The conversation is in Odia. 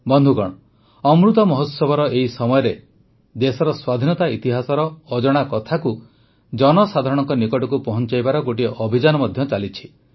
ବନ୍ଧୁଗଣ ଅମୃତ ମହୋତ୍ସବର ଏହି ସମୟରେ ଦେଶର ସ୍ୱାଧୀନତା ଇତିହାସର ଅଜଣା କଥାକୁ ଜନସାଧାରଣଙ୍କ ନିକଟକୁ ପହଂଚାଇବାର ଗୋଟିଏ ଅଭିଯାନ ମଧ୍ୟ ଚାଲିଛି